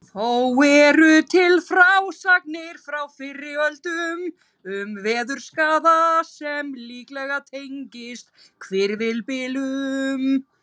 Þó eru til frásagnir frá fyrri öldum um veðurskaða sem líklega tengist hvirfilbyljum.